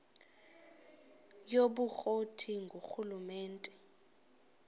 yobukro ti ngurhulumente